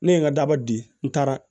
Ne ye n ka daba di n taara